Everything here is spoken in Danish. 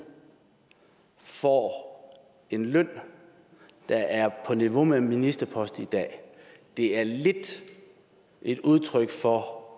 får en løn der er på niveau med en ministerpost i dag det er lidt et udtryk for